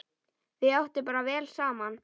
Þau áttu bara vel saman!